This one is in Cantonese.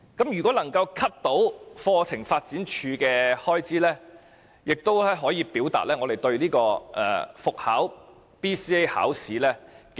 如果能夠削減課程發展處的開支，亦可以表達我們不支持復考 BCA。